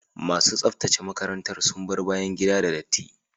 Masu tsaftace makarantar sun bar bayan gida da datti.